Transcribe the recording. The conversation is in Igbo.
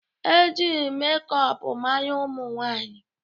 E ji mekọp mara ụmụ nwanyị